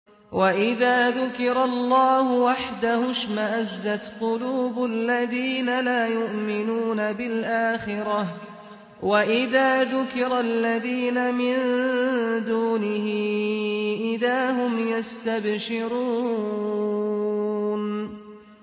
وَإِذَا ذُكِرَ اللَّهُ وَحْدَهُ اشْمَأَزَّتْ قُلُوبُ الَّذِينَ لَا يُؤْمِنُونَ بِالْآخِرَةِ ۖ وَإِذَا ذُكِرَ الَّذِينَ مِن دُونِهِ إِذَا هُمْ يَسْتَبْشِرُونَ